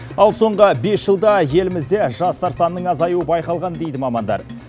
ал соңғы бес жылда елімізде жастар санының азаюы байқалған дейді мамандар